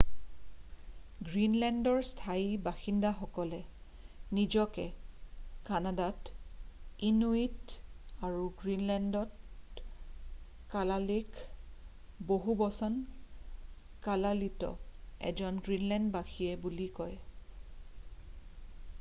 গ্ৰীণলেণ্ডৰ স্থায়ী বাসিন্দাসকলে নিজকে কানাডাত ইনুইট আৰু গ্ৰীণলেণ্ডত কালালেক বহুবচন কালালিত এজন গ্ৰীণলেণ্ডবাসী বুলি কয়।